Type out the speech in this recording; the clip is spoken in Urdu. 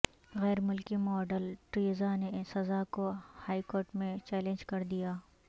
غیرملکی ماڈل ٹریزا نے سزا کو ہائیکورٹ میں چیلنج کردیا